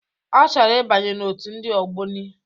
Ọ chọrọ ịbanye n'otu ndị ogboni.